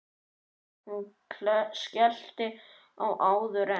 Hún skellti á áður en